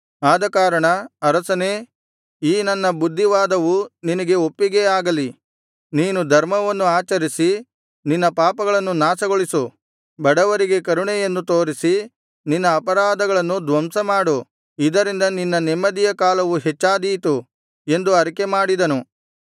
ಆದಕಾರಣ ಅರಸನೇ ಈ ನನ್ನ ಬುದ್ಧಿವಾದವು ನಿನಗೆ ಒಪ್ಪಿಗೆಯಾಗಲಿ ನೀನು ಧರ್ಮವನ್ನು ಆಚರಿಸಿ ನಿನ್ನ ಪಾಪಗಳನ್ನು ನಾಶಗೊಳಿಸು ಬಡವರಿಗೆ ಕರುಣೆಯನ್ನು ತೋರಿಸಿ ನಿನ್ನ ಅಪರಾಧಗಳನ್ನು ಧ್ವಂಸಮಾಡು ಇದರಿಂದ ನಿನ್ನ ನೆಮ್ಮದಿಯ ಕಾಲವು ಹೆಚ್ಚಾದೀತು ಎಂದು ಅರಿಕೆ ಮಾಡಿದನು